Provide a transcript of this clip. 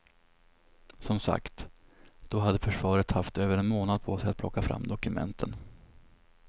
Som sagt, då hade försvaret haft över en månad på sig att plocka fram dokumenten.